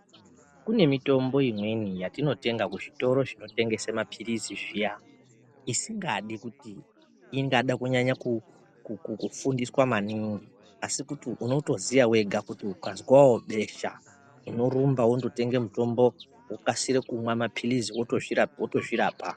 Kune mitombo imweni yatinotenga kuzvitoro zvinotengesa maphirizi zviya, isikadi kuti ingada kunyanya kufundiswa maningi, asi kuti unotoziya wega kuti ukazwawo besha, unorumba wondotenge mutombo wokasira kumwa maphilizi wotozvirapa.